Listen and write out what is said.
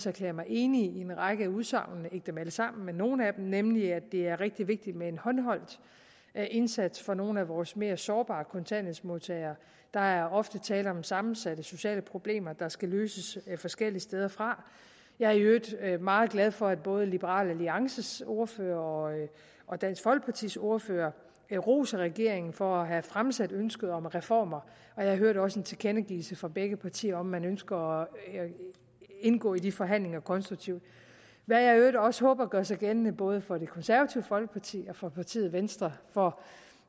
erklæret mig enig i en række udsagn ikke dem alle sammen men nogle af dem nemlig at det er rigtig vigtigt med en håndholdt indsats for nogle af vores mere sårbare kontanthjælpsmodtagere der er ofte tale om sammensatte sociale problemer der skal løses forskellige steder fra jeg er i øvrigt meget glad for at både liberal alliances ordfører og dansk folkepartis ordfører roser regeringen for at have fremsat ønsket om reformer jeg hørte også en tilkendegivelse fra begge partier om at man ønsker at indgå i de forhandlinger konstruktivt hvad jeg i øvrigt også håber gør sig gældende både for det konservative folkeparti og for partiet venstre for